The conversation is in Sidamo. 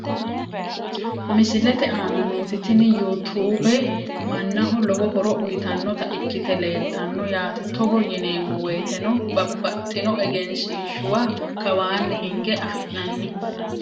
Misilete aana nooti tini you tube manaho lowo horo uyitanota ikite leeltano yaate togo yineemowoyiteno babaxitino egenshiishuwa kawaani hinge afinani.